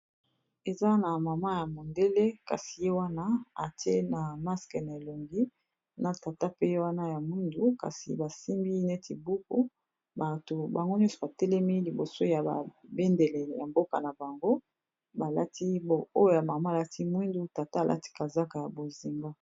eza na mama ya mondele kasi ye wana ati masque na elongi na tata pe wana ya mwindu kasi basimbi neti buku bato bango nyonso batelemi liboso ya babendele ya mboka na bango balati oyo ya mama alati mwindu tata alati kazaka ya bozinga